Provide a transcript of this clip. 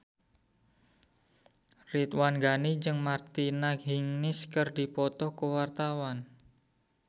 Ridwan Ghani jeung Martina Hingis keur dipoto ku wartawan